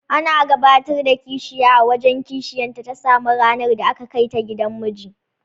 Ana gabatar da kishiya a wajen kishiyarta ta sama ranar da aka kaita gidan miji.